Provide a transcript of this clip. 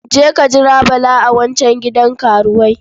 Je ka jira Bala a wancan gidan karuwai.